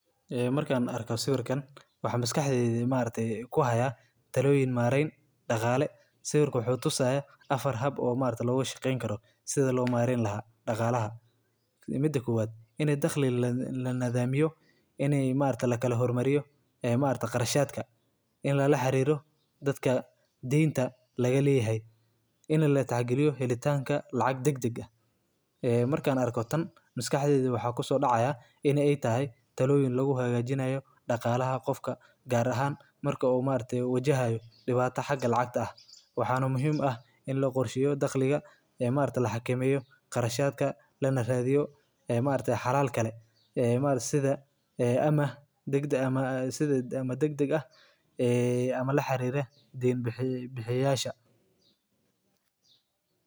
Maareynta dhaqaalahaaga waa xirfad muhiim ah oo qof walba uu u baahan yahay inuu barto si uu u gaaro nolol dhaqaale oo deggan. Marka hore, waxaa muhiim ah in aad sameysato miisaaniyad cad oo aad ku qorto dakhligaaga iyo kharashyadaada bil kasta. Tani waxay kaa caawinaysaa inaad ogaato meesha lacagtaadu ku baxdo iyo sida aad u yareyn karto kharashyada aan loo baahnayn. Sidoo kale, waa inaad dejisaa yoolal dhaqaale oo macquul ah sida kaydinta lacag qayb kasta oo aad hesho, xitaa haddii ay tahay lacag yar.